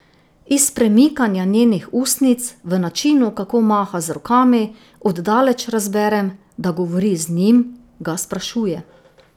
Iz premikanja njenih ustnic, v načinu, kako maha z rokami, od daleč razberem, da govori z njim, ga sprašuje.